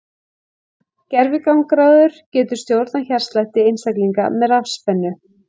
Gervigangráður getur stjórnað hjartslætti einstaklinga með rafspennu.